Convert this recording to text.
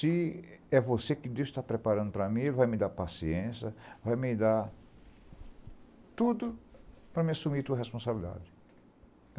Se é você que Deus está preparando para mim, Ele vai me dar paciência, vai me dar tudo para me assumir a tua responsabilidade.